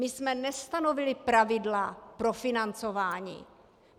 My jsme nestanovili pravidla pro financování.